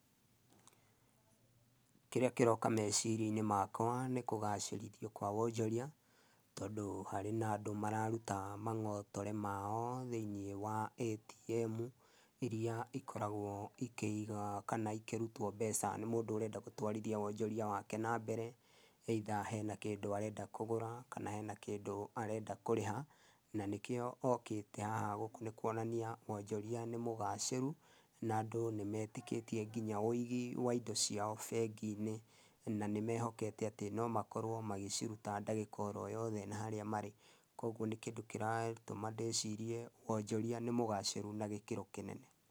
Kĩrĩa kĩroka mecirĩa-inĩ makwa nĩ kũgacĩrithia kwa wonjoria, tondu hari na andũ mararuta mangotore mao thĩinĩ wa Atm, iria ikoragwa ikĩiga kana ikĩrutwo mbeca nĩ mũndũ ũrenda gũtwarithia wonjoria wake na mbere either, hena kĩndũ arenda kũgũra, kana hena kĩndũ arenda kũrĩha, na nĩkĩo okĩte haha gũkũ nĩ kũonania wonjoria nĩ mũgacirũ, na andũ nĩ metĩkĩtie nginya ũigi wa indo ciao bengi-inĩ, na ni mehokete atĩ no makorwo magĩciruta ndagĩka oro yothe na harĩa marĩ. Koguo nĩ kĩndũ kĩratũma ndĩcirĩa wonjoria nĩ mũgacirũ na gĩkĩro kĩnene.